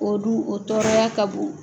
O dun o tɔɔrɔya ka bon.